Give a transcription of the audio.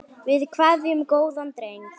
Við kveðjum góðan dreng.